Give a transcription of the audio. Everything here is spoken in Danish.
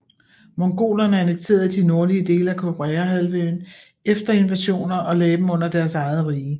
Mongolerne annekterede de nordlige dele af Koreahalvøen efter invasioner og lagde dem under deres eget rige